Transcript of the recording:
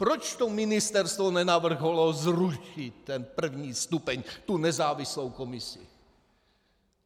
Proč to ministerstvo nenavrhlo zrušit ten první stupeň, tu nezávislou komisi?